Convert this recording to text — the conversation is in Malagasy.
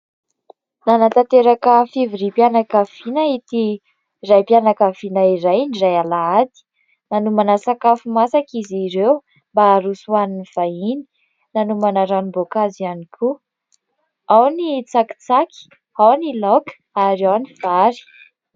Nanatanteraka fivoriam-pianakaviana ity raim-pianakaviana iray indray alahady. Nanomana sakafo masaka izy ireo mba haroso ho an'ny vahiny, nanomana ranom-boankazo ihany koa. Ao ny tsakitsaky, ao ny laoka ary ao ny vary.